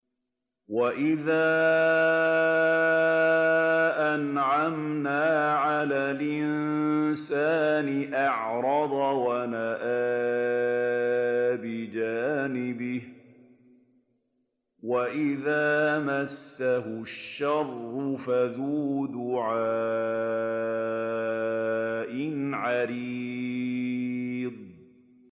وَإِذَا أَنْعَمْنَا عَلَى الْإِنسَانِ أَعْرَضَ وَنَأَىٰ بِجَانِبِهِ وَإِذَا مَسَّهُ الشَّرُّ فَذُو دُعَاءٍ عَرِيضٍ